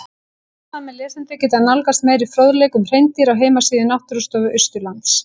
Áhugasamir lesendur geta nálgast meiri fróðleik um hreindýr á heimasíðu Náttúrustofu Austurlands.